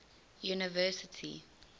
university